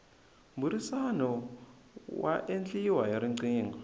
mbhurisano wa endliwa hi rqingho